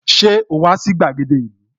Ṣé o wà sí gbàgede ìlú?